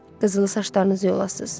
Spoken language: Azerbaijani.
Qızılı saçlarınızı yolasız.